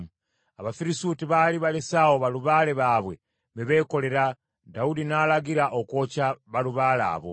Abafirisuuti baali balese awo balubaale baabwe be beekolera, Dawudi n’alagira okwokya balubaale abo.